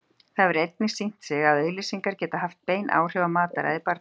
Það hefur einnig sýnt sig að auglýsingar geta haft bein áhrif á mataræði barna.